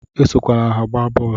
Esokwala ha agba bọọlu!